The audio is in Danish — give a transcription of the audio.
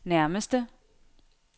nærmeste